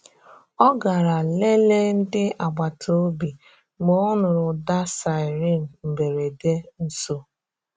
Ọ garà leleè ndị agbata obi mgbe ọ nụrụ̀ ụda siren mberede nso.